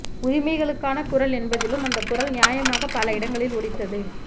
உரிமைகளுக்கான குரல் என்பதிலும் அந்தக் குரல் நியாயமாக பல இடங்களில் ஒலித்தது